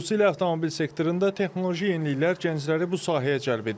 Xüsusilə avtomobil sektorunda texnoloji yeniliklər gəncləri bu sahəyə cəlb edir.